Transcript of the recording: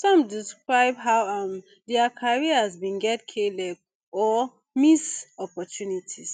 some describe how um dia careers bin get kleg or miss opportunities